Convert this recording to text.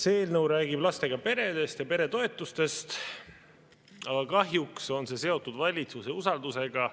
See eelnõu räägib lastega peredest ja peretoetustest, aga kahjuks on see seotud valitsuse usaldusega.